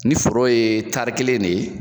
Ni foro ye tari kelen ne ye